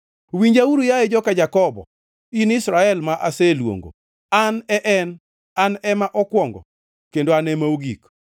“Winjauru, yaye joka Jakobo in Israel ma aseluongo: An e en; an ema okwongo kendo an ema ogik.